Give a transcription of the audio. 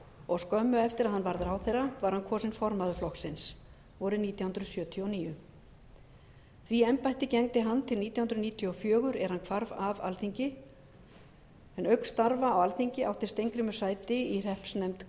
og skömmu eftir að hann varð ráðherra var hann kosinn formaður framsóknarflokksins vorið nítján hundruð sjötíu og níu því embætti gegndi hann til nítján hundruð níutíu og fjögur er hann hvarf af alþingi auk starfa á alþingi átti steingrímur sæti í hreppsnefnd